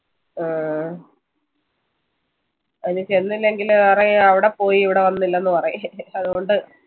ആഹ് ഇനി ചെന്നില്ലെങ്കില് പറയും അവിടെ പോയി ഇവിട വന്നില്ലെന്ന് പറയില്ലേ അതുകൊണ്ട്